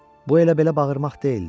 Bu elə-belə bağırmaq deyildi.